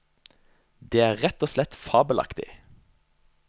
Det er rett og slett fabelaktig.